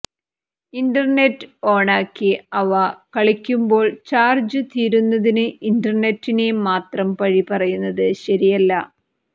internet ഓണാക്കി അവ കളിക്കുമ്പോൾ ചാർജു തീരുന്നതിന് ഇന്റർനെറ്റിനെ മാത്രം പഴി പറയുന്നത് ശരിയല്ല